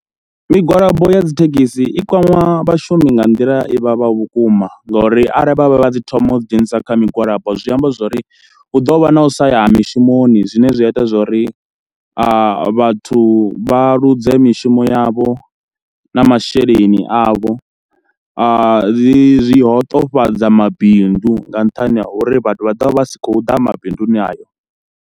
Migwalabo ya dzi thekhisi i kwama vhashumi nga nḓila i vhavhaho vhukuma ngauri arali vha vha vha dzi thoma u ḓi dzhenisa kha migwalabo zwi amba zwo ri hu ḓo vha na u sa ya ha mishumoni, zwine zwi a ita zwo ri vhathu vha ḽuze mishumo yavho na masheleni avho, zwi hoṱofhadza mabindu nga nṱhani ha uri vhathu vha ḓo vha vha si khou ḓa mabinduni ayo.